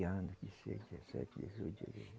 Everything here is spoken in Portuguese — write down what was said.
anos, dezesseis, dezessete, dezoito